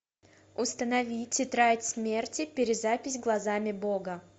установи тетрадь смерти перезапись глазами бога